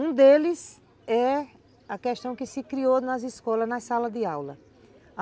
Um deles é a questão que se criou nas escolas, nas salas de aula.